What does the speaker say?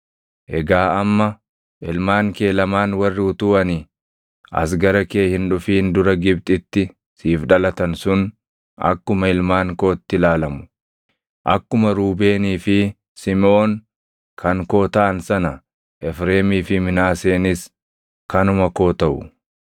“Egaa amma ilmaan kee lamaan warri utuu ani as gara kee hin dhufin dura Gibxitti siif dhalatan sun akkuma ilmaan kootti ilaalamu; akkuma Ruubeenii fi Simiʼoon kan koo taʼan sana Efreemii fi Minaaseenis kanuma koo taʼu.